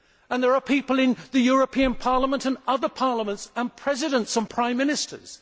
There are people in the European Parliament and other parliaments, and Presidents and Prime Ministers.